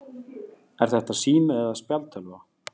Er þetta sími eða spjaldtölva?